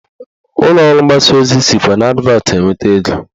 Ụlọọrụ mgbasa ozi sikwa n'advatị enweta ego